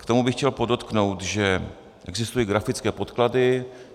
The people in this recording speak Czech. K tomu bych chtěl podotknout, že existují grafické podklady.